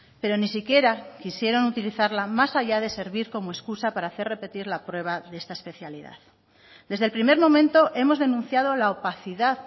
pero ni si quiera quisieron utilizarla más allá de servir como excusa para hacer repetir la prueba de esta especialidad desde el primer momento hemos denunciado la opacidad